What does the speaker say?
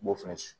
N b'o fɛn